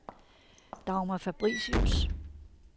Dagmar Fabricius